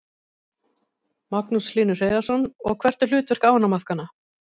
Magnús Hlynur Hreiðarsson: Og hvert er hlutverk ánamaðkanna?